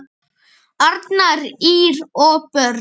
Arnar, Ýr og börn.